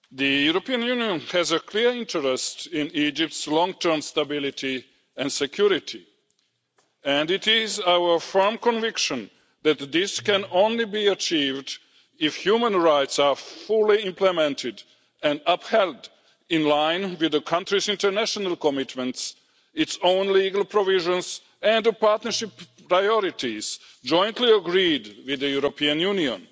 Mr President, the European Union has a clear interest in Egypt's long term stability and security, and it is our firm conviction that this can only be achieved if human rights are fully implemented and upheld, in line with the country's international commitments, its own legal provisions and the partnership priorities jointly agreed with the European Union.